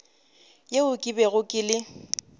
yeo ke bego ke le